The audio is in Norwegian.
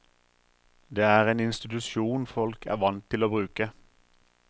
Det er en institusjon folk er vant til å bruke.